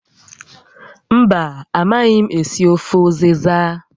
Mba, a maghị m esi ofe ụzịza